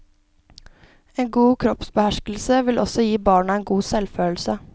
En god kroppsbeherskelse vil også gi barna en god selvfølelse.